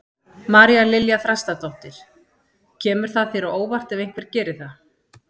María Lilja Þrastardóttir: Kemur það þér á óvart ef einhver geri það?